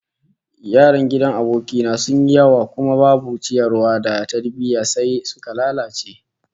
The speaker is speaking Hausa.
Yaran gidan aboki na sun yi yawa kuma babu ciyarwa da tarbiyya, sai suka lalace